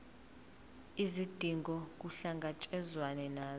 izidingo kuhlangatshezwane nazo